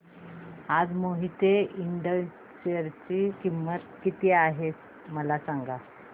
आज मोहिते इंड च्या शेअर ची किंमत किती आहे मला सांगा